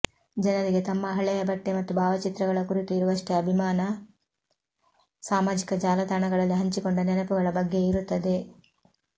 ಜನರಿಗೆ ತಮ್ಮ ಹಳೆಯ ಬಟ್ಟೆ ಮತ್ತು ಭಾವಚಿತ್ರಗಳ ಕುರಿತು ಇರುವಷ್ಟೇ ಅಭಿಮಾನ ಸಾಮಾಜಿಕ ಜಾಲತಾಣಗಳಲ್ಲಿ ಹಂಚಿಕೊಂಡ ನೆನಪುಗಳ ಬಗ್ಗೆಯೂ ಇರುತ್ತದೆ